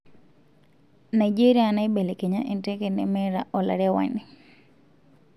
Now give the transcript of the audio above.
Nigeria naibelekenya enteke nemeta olarewani.